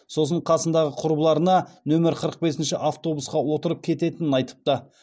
сосын қасындағы құрбыларына нөмір қырық бесінші автобусқа отырып кететінен айтыпты